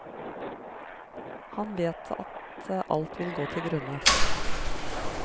Og han vet at alt vil gå til grunne.